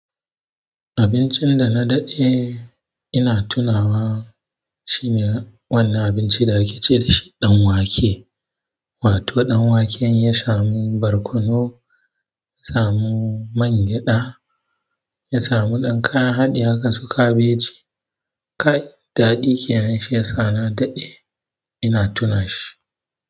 Abincin da na daɗe ina tunawa shine wannan abinci da ake ce dashi danwake. Wato danwake in ya samu barkono, ya samu mangyaɗa, ya samu ɗan kayan haɗi haka su kabeji. Kai, daɗi kenan shi ya sa na daɗe ina tuna shi.